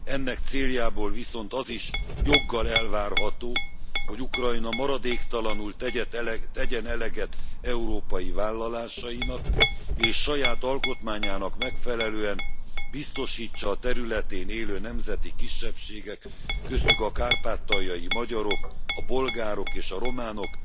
Ennek céljából viszont az is joggal elvárható, hogy Ukrajna maradéktalanul tegyen eleget európai vállalásainak, és saját alkotmányának megfelelően biztosítsa a területén élő nemzeti kisebbségek köztük a kárpátaljai magyarok, a bolgárok és a románok